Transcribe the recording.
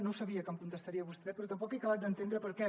no sabia que em contestaria vostè però tampoc he acabat d’entendre per què